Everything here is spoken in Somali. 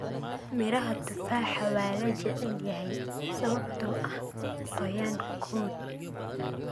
Midhaha tufaaxa waa la jecel yahay sababtoo ah qoyaan-kood.